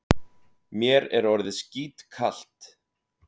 Mér er orðið skítkalt.